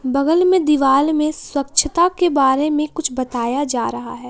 बगल में दीवार में स्वच्छता के बारे में कुछ बताया जा रहा है।